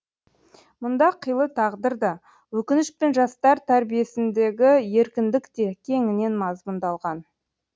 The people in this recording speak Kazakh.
мұнда қилы тағдыр да өкініш пен жастар тәрбиесіндегі еркіндік те кеңінен мазмұндалған